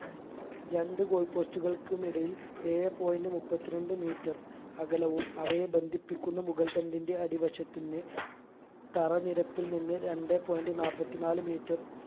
രണ്ട് goal post ഉകൾക്കുമിടയിൽ ഏഴേ point മുപ്പത്തി രണ്ട് metre അകലവും അവയെ ബന്ധിപ്പിക്കുന്ന മുകൾതണ്ടിന്റെ അടിവശത്തിന്ന് തറ നിരപ്പിൽ നിന്ന് രണ്ടേ point നാപ്പതിനാല് metre